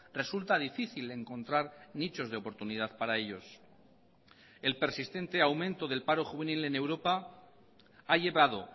resulta difícil encontrar nichos de oportunidad para ellos el persistente aumento del paro juvenil en europa ha llevado